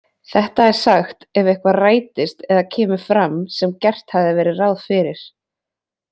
Þetta er sagt ef eitthvað rætist eða kemur fram sem gert hafði verið ráð fyrir.